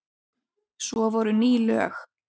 Svo voru ný lög.